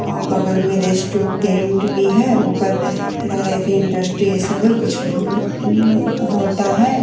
अ बगल में रेस्टुरेंट भी है ऊपर लग रहा है कि इंडस्ट्री ये सब है कुछ होता है।